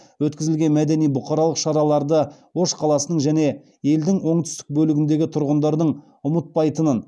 өткізілген мәдени бұқаралық шараларды ош қаласының және елдің оңтүстік бөлігіндегі тұрғындардың ұмытпайтынын